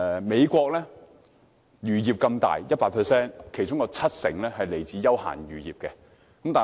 美國有龐大漁業，當中有七成屬於休閒漁業。